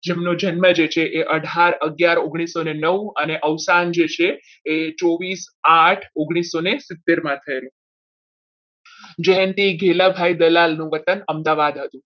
જેમનો જન્મ છે એ અઢાર અગિયાર ઓગણીસો ને નવ અને અવસાન છે એ ચોવીસ આઠ ઓગ્નીસોને સિત્તેર માં થયેલો જયંતીભાઈ ગેલાભાઈ દલાલ નું વતન અમદાવાદ હતું.